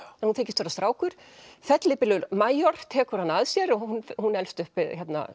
hún hún þykist vera strákur fellibylur tekur hana að sér og hún hún elst upp við